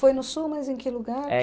Foi no Sul, mas em que lugar?